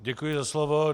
Děkuji za slovo.